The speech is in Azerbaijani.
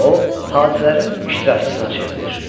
Və o, hadisələrin iştirakçısına çevrilir.